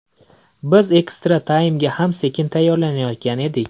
Biz ekstra-taymga ham sekin tayyorlanayotgan edik.